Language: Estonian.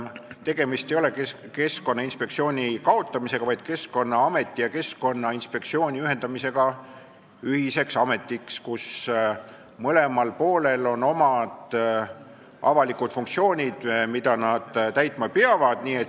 Tegemist ei ole Keskkonnainspektsiooni kaotamisega, vaid Keskkonnaameti ja Keskkonnainspektsiooni ühendamisega ühiseks ametiks, kus mõlemal poolel on omad avalikud funktsioonid, mida nad täitma peavad.